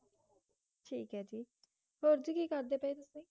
ਠੀਕ ਆ ਜੀ ਹੋਰ ਤੁਸੀਂ ਕਿ ਕਰਦੇ ਪਏ